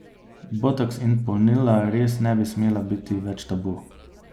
Botoks in polnila res ne bi smela biti več tabu.